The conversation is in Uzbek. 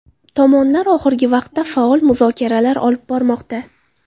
Tomonlar oxirgi vaqtda faol muzokaralar olib bormoqda.